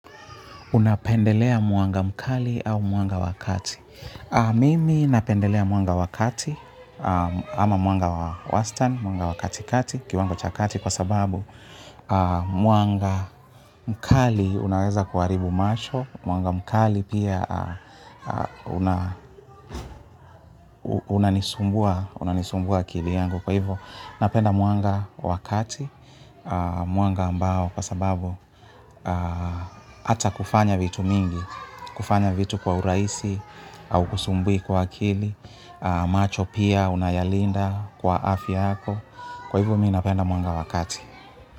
Unapendelea mwanga mkali au mwanga wa kati. Mimi napendelea muanga wakati ama mwanga wa wastani, mwanga wa kati kati, kiwango cha kati kwa sababu mwanga mkali unaweza kuharibu macho, mwanga mkali pia unanisumbua akili yangu. Kwa hivo napenda mwanga wa kati, mwanga ambao kwa sababu ata kufanya vitu mingi, kufanya vitu kwa urahisi hau kusumbui kwa akili, macho pia unayalinda kwa afia yako. Kwa hivo mimi napenda mwanga wakati.